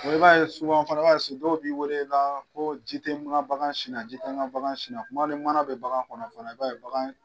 Wele i b'a ye fana i ba ye so dɔw b'i wele la ko ji tɛ n ka bagan sina, ji tɛ n ka bagan sina, kuma ni mana bɛ bagan kɔnɔ fɛnɛ i b'a ye.